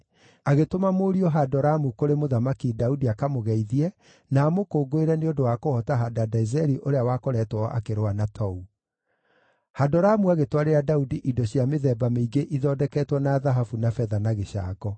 agĩtũma mũriũ Hadoramu kũrĩ Mũthamaki Daudi akamũgeithie na amũkũngũĩre nĩ ũndũ wa kũhoota Hadadezeri ũrĩa wakoretwo akĩrũa na Tou. Hadoramu agĩtwarĩra Daudi indo cia mĩthemba mĩingĩ ithondeketwo na thahabu na betha na gĩcango.